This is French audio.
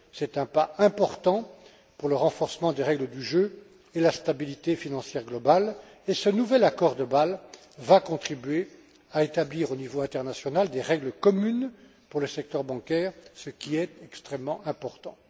C'est un pas important pour le renforcement des règles du jeu et la stabilité financière mondiale et ce nouvel accord de Bâle va contribuer à établir, au niveau international, des règles communes pour le secteur bancaire, ce qui est extrêmement important.